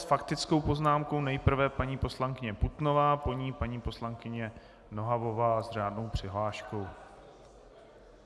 S faktickou poznámkou nejprve paní poslankyně Putnová, po ní paní poslankyně Nohavová s řádnou přihláškou.